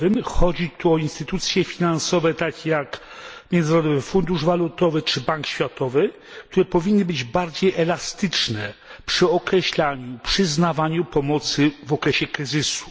Chodzi tu o instytucje finansowe, takie jak Międzynarodowy Fundusz Walutowy czy Bank Światowy, które powinny być bardziej elastyczne przy określaniu, przyznawaniu pomocy w okresie kryzysu.